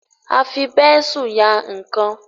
a fí Bẹ́ńsù yá nkán